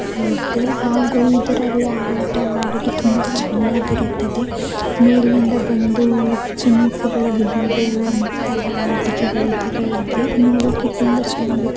ಇದೆ ಹಾಗು ಇದರಲ್ಲಿ ಆಟವಾಡಲು ತುಂಬಾ ಚೆನ್ನಾಗಿರುತ್ತದೆ. ಮೇಲಿಂದ ಬಂದು ಸ್ವಿಮ್ಮಿಂಗ್ ಫೂಲ್ ಒಳಗೆ ಬೀಳುವಂಥ ಆಟಿಕೆಗಳು ಇದರಲ್ಲಿ ಇದೆ. ನೋಡ್ಲಿಕ್ಕೆ ತುಂಬಾ ಚೆನ್ನಾಗಿರುತ್ತೆ.